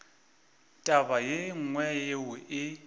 taba ye nngwe yeo e